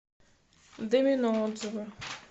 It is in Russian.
домино отзывы